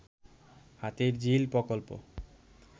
হাতির ঝিল প্রকল্প